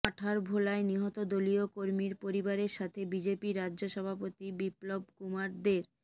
আঠারভোলায় নিহত দলীয় কর্মীর পরিবারের সাথে বিজেপি রাজ্য সভাপতি বিপ্লব কুমার দের